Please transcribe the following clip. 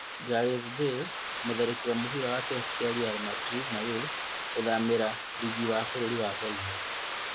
Gareth Bale mũtharĩkĩri wa mũbĩra wa kĩrabu kĩa Real Madrid na Wales gũthamĩra rigi wa bũrũri wa China